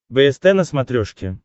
бст на смотрешке